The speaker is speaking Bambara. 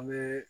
An bɛ